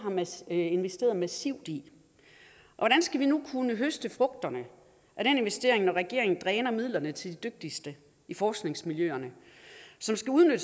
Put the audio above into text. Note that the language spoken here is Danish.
er blevet investeret massivt i hvordan skal vi nu kunne høste frugterne af den investering når regeringen dræner midlerne til de dygtigste i forskningsmiljøerne som skal udnytte